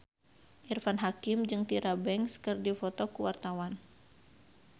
Irfan Hakim jeung Tyra Banks keur dipoto ku wartawan